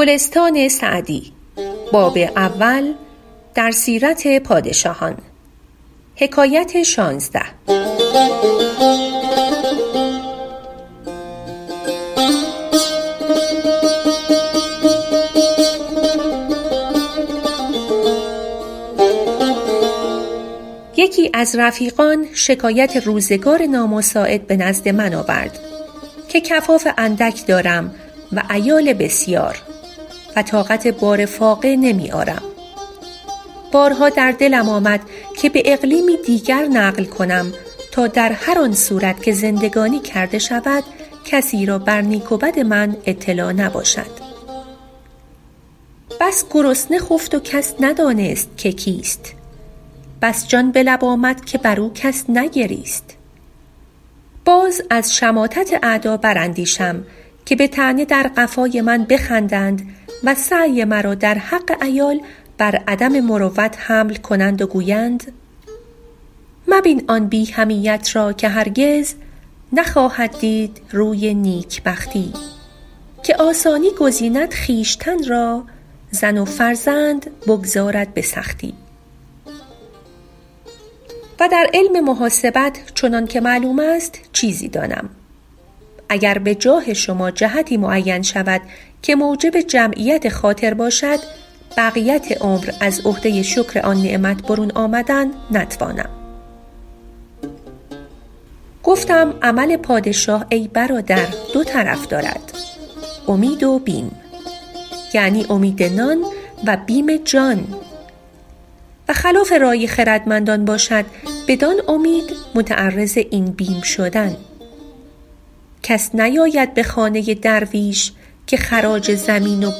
یکی از رفیقان شکایت روزگار نامساعد به نزد من آورد که کفاف اندک دارم و عیال بسیار و طاقت بار فاقه نمی آرم و بارها در دلم آمد که به اقلیمی دیگر نقل کنم تا در هر آن صورت که زندگانی کرده شود کسی را بر نیک و بد من اطلاع نباشد بس گرسنه خفت و کس ندانست که کیست بس جان به لب آمد که بر او کس نگریست باز از شماتت اعدا بر اندیشم که به طعنه در قفای من بخندند و سعی مرا در حق عیال بر عدم مروت حمل کنند و گویند مبین آن بی حمیت را که هرگز نخواهد دید روی نیکبختی که آسانی گزیند خویشتن را زن و فرزند بگذارد به سختی و در علم محاسبت چنان که معلوم است چیزی دانم و گر به جاه شما جهتی معین شود که موجب جمعیت خاطر باشد بقیت عمر از عهده شکر آن نعمت برون آمدن نتوانم گفتم عمل پادشاه ای برادر دو طرف دارد امید و بیم یعنی امید نان و بیم جان و خلاف رای خردمندان باشد بدان امید متعرض این بیم شدن کس نیاید به خانه درویش که خراج زمین و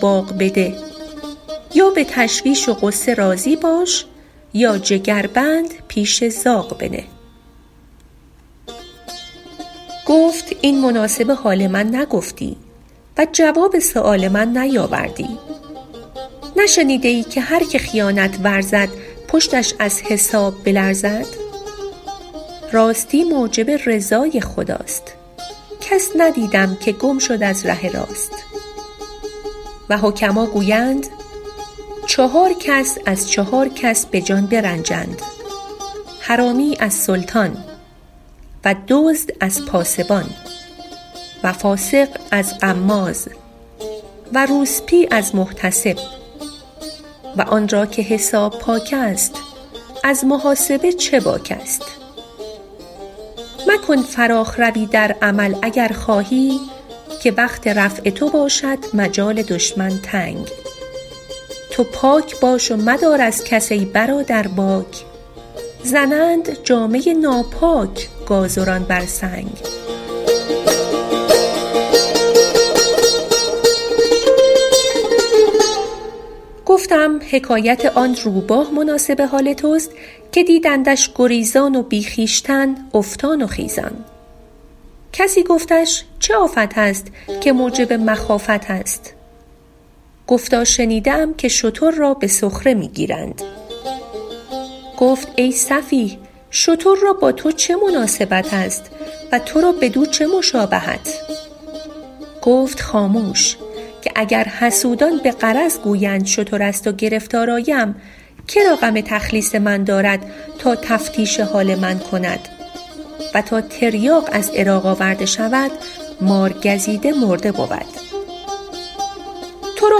باغ بده یا به تشویش و غصه راضی باش یا جگربند پیش زاغ بنه گفت این مناسب حال من نگفتی و جواب سؤال من نیاوردی نشنیده ای که هر که خیانت ورزد پشتش از حساب بلرزد راستی موجب رضای خداست کس ندیدم که گم شد از ره راست و حکما گویند چهار کس از چهار کس به جان برنجند حرامی از سلطان و دزد از پاسبان و فاسق از غماز و روسبی از محتسب و آن را که حساب پاک است از محاسب چه باک است مکن فراخ روی در عمل اگر خواهی که وقت رفع تو باشد مجال دشمن تنگ تو پاک باش و مدار از کس ای برادر باک زنند جامه ناپاک گازران بر سنگ گفتم حکایت آن روباه مناسب حال توست که دیدندش گریزان و بی خویشتن افتان و خیزان کسی گفتش چه آفت است که موجب مخافت است گفتا شنیده ام که شتر را به سخره می گیرند گفت ای سفیه شتر را با تو چه مناسبت است و تو را بدو چه مشابهت گفت خاموش که اگر حسودان به غرض گویند شتر است و گرفتار آیم که را غم تخلیص من دارد تا تفتیش حال من کند و تا تریاق از عراق آورده شود مارگزیده مرده بود تو را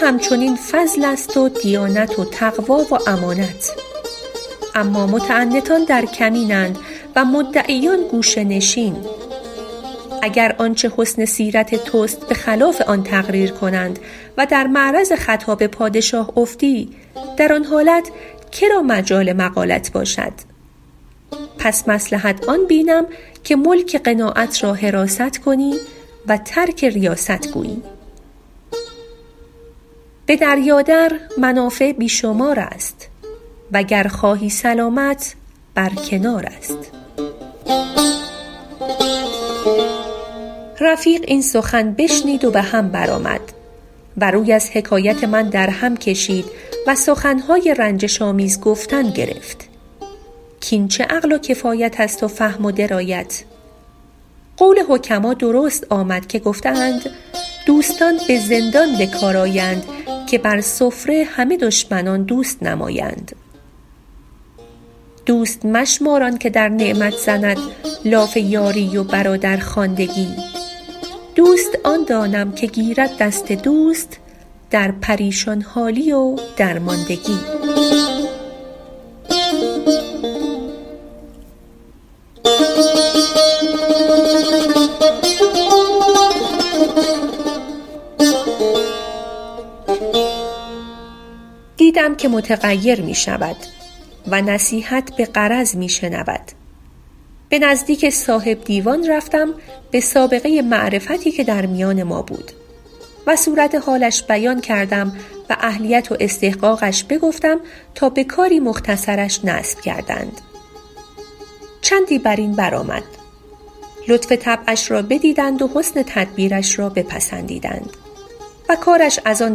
هم چنین فضل است و دیانت و تقوی و امانت اما متعنتان در کمین اند و مدعیان گوشه نشین اگر آنچه حسن سیرت توست به خلاف آن تقریر کنند و در معرض خطاب پادشاه افتی در آن حالت مجال مقالت باشد پس مصلحت آن بینم که ملک قناعت را حراست کنی و ترک ریاست گویی به دریا در منافع بی شمار است و گر خواهی سلامت بر کنار است رفیق این سخن بشنید و به هم بر آمد و روی از حکایت من در هم کشید و سخن های رنجش آمیز گفتن گرفت کاین چه عقل و کفایت است و فهم و درایت قول حکما درست آمد که گفته اند دوستان به زندان به کار آیند که بر سفره همه دشمنان دوست نمایند دوست مشمار آن که در نعمت زند لاف یاری و برادرخواندگی دوست آن دانم که گیرد دست دوست در پریشان حالی و درماندگی دیدم که متغیر می شود و نصیحت به غرض می شنود به نزدیک صاحب دیوان رفتم به سابقه معرفتی که در میان ما بود و صورت حالش بیان کردم و اهلیت و استحقاقش بگفتم تا به کاری مختصرش نصب کردند چندی بر این بر آمد لطف طبعش را بدیدند و حسن تدبیرش را بپسندیدند و کارش از آن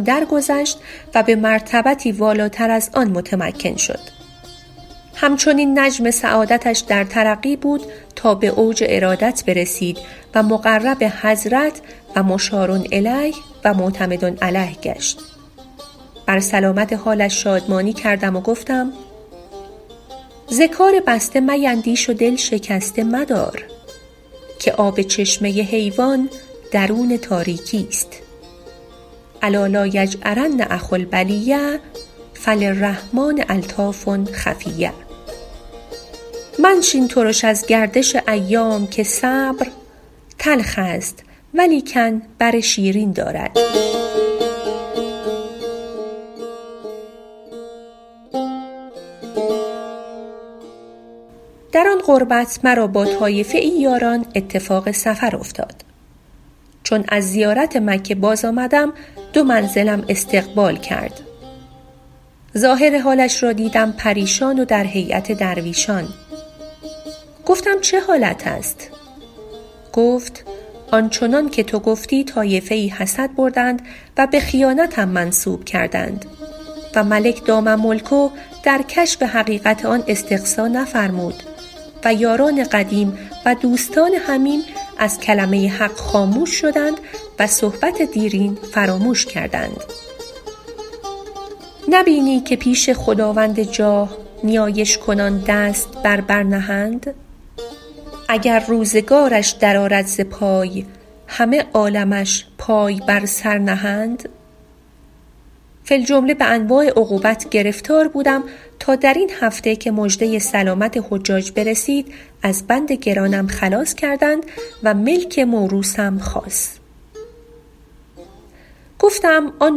درگذشت و به مرتبتی والاتر از آن متمکن شد هم چنین نجم سعادتش در ترقی بود تا به اوج ارادت برسید و مقرب حضرت و مشارالیه و معتمد علیه گشت بر سلامت حالش شادمانی کردم و گفتم ز کار بسته میندیش و دل شکسته مدار که آب چشمه حیوان درون تاریکی است الا لایجأرن اخو البلیة فللرحمٰن الطاف خفیة منشین ترش از گردش ایام که صبر تلخ است ولیکن بر شیرین دارد در آن قربت مرا با طایفه ای یاران اتفاق سفر افتاد چون از زیارت مکه باز آمدم دو منزلم استقبال کرد ظاهر حالش را دیدم پریشان و در هیأت درویشان گفتم چه حالت است گفت آن چنان که تو گفتی طایفه ای حسد بردند و به خیانتم منسوب کردند و ملک دام ملکه در کشف حقیقت آن استقصا نفرمود و یاران قدیم و دوستان حمیم از کلمه حق خاموش شدند و صحبت دیرین فراموش کردند نه بینی که پیش خداوند جاه نیایش کنان دست بر بر نهند اگر روزگارش در آرد ز پای همه عالمش پای بر سر نهند فی الجمله به انواع عقوبت گرفتار بودم تا در این هفته که مژده سلامت حجاج برسید از بند گرانم خلاص کرد و ملک موروثم خاص گفتم آن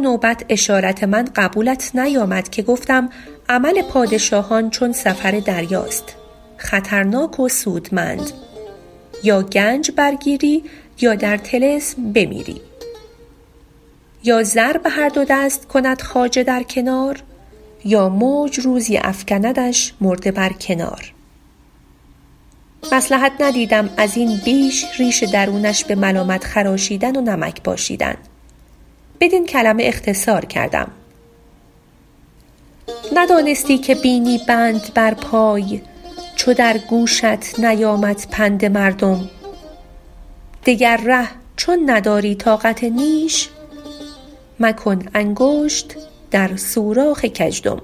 نوبت اشارت من قبولت نیامد که گفتم عمل پادشاهان چون سفر دریاست خطرناک و سودمند یا گنج برگیری یا در طلسم بمیری یا زر به هر دو دست کند خواجه در کنار یا موج روزی افکندش مرده بر کنار مصلحت ندیدم از این بیش ریش درونش به ملامت خراشیدن و نمک پاشیدن بدین کلمه اختصار کردیم ندانستی که بینی بند بر پای چو در گوشت نیامد پند مردم دگر ره چون نداری طاقت نیش مکن انگشت در سوراخ گژدم